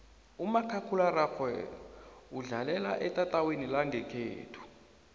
umakhakhulararhwe udlalelwa etatawini langekhethu